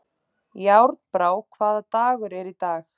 Járnbrá, hvaða dagur er í dag?